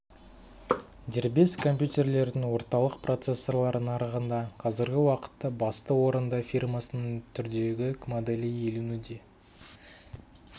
дербес компьютерлердің орталық процессорлар нарығында қазіргі уақытта басты орынды фирмасының түрдегі моделі иеленуде